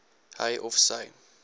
hy of sy